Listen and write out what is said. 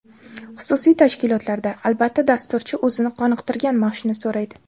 Xususiy tashkilotlarda, albatta, dasturchi o‘zini qoniqtirgan maoshni so‘raydi.